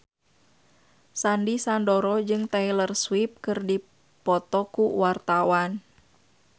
Sandy Sandoro jeung Taylor Swift keur dipoto ku wartawan